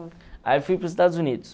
Aí fui para os Estados Unidos.